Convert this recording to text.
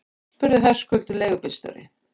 spurði Höskuldur leigubílstjóri.